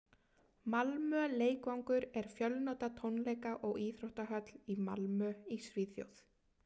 malmö leikvangur er fjölnota tónleika og íþróttahöll í malmö í svíþjóð